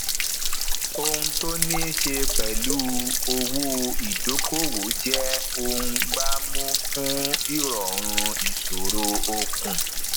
òhun tó niiṣe pẹlu owó ìdókòwò jẹ ohun gbámú fún irọrun ìṣòro okùn